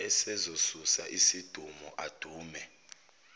esezosusa izidumo adume